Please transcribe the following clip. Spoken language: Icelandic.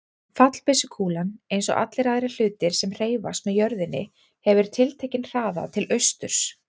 Fallbyssukúlan, eins og allir aðrir hlutir sem hreyfast með jörðinni, hefur tiltekinn hraða til austurs.